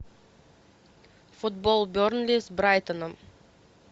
футбол бернли с брайтоном